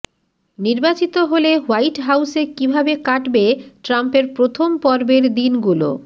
নির্বাচিত হলে হোয়াইট হাউসে কীভাবে কাটবে ট্রাম্পের প্রথম পর্বের দিনগুলো